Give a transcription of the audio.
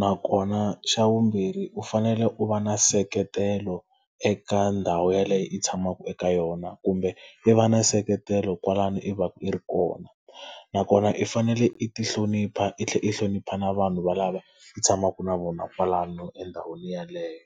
Nakona xa vumbirhi u fanele u va na nseketelo eka ndhawu yaleyo i tshamaka eka yona kumbe i va na nseketelo kwalano i va ka i ri kona. Nakona i fanele i ti hlonipha i tlhela i hlonipha na vanhu valavo i tshamaka na vona kwalano endhawini yeleyo.